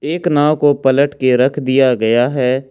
एक नाव को पलट के रख दिया गया है।